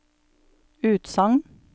utsagn